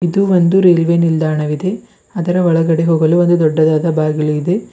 ಇದು ಒಂದು ರೈಲ್ವೆ ನಿಲ್ದಾಣವಿದೆ ಅದರ ಒಳಗಡೆ ಹೋಗಲು ಒಂದು ದೊಡ್ಡದಾದ ಬಾಗಿಲು ಇದೆ.